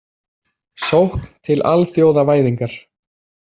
Sókn til alþjóðavæðingar.